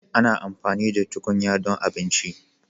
Ana amfani da tukunya don abinci,